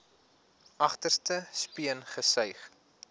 agterste speen gesuig